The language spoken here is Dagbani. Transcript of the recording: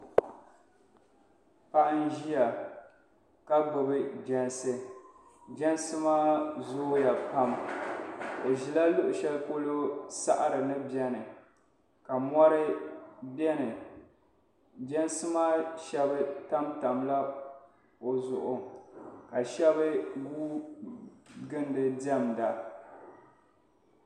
Paɣi n ziya ka gbubi jɛnsi jɛnsi maa zooya pam o zɛla luɣi shɛli polo saɣiri ni bɛni ka mori bɛni jɛnsi maa shɛba tam tam la o zuɣu ka shɛb ka shɛb gui gili di diɛmda